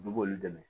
Olu b'olu dɛmɛ